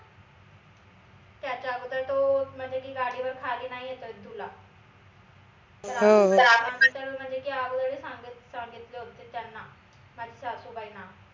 त्याच्या अगोदर तो म्हनजे की गादीवर खाली नाई येतातायत दुल्हा म्हनजे की अगोदर सांग सांगितले होते त्यांना माझ्या सासूबाईंना